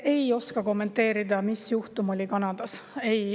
Ei oska kommenteerida, mis juhtum oli Kanadas.